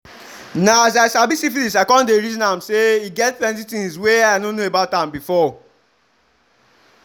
na as i sabi syphilis i come the reason am say e get plenty things were i no know about am before